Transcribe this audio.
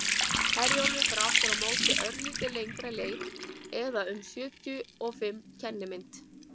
herjólfur fer aftur á móti örlítið lengri leið eða um sjötíu og fimm kennimynd